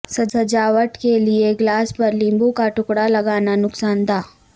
سجاوٹ کے لئے گلاس پر لیموں کا ٹکڑالگانا نقصان دہ